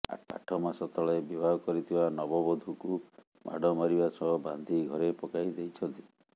ଆଠ ମାସ ତଳେ ବିବାହ କରିଥିବା ନବବଧୂକୁ ମାଡ଼ ମାରିବା ସହ ବାନ୍ଧି ଘରେ ପକାଇ ଦେଇଛନ୍ତି